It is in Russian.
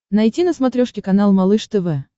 найти на смотрешке канал малыш тв